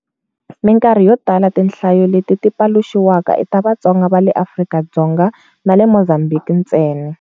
Minkarhi yo tala tinhlayo leti ti paluxiwaka i ta Vatsonga va le Afrika-Dzonga na le Mozambique ntsena.